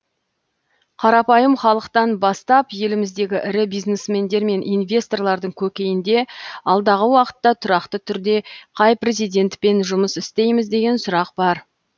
қарапайым халықтан бастап еліміздегі ірі бизнесмендер мен инвесторлардың көкейінде алдағы уақытта тұрақты түрде қай президентпен жұмыс істейміз деген сұрақ бар